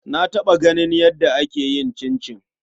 Na taɓa ganin yadda ake yin cincin.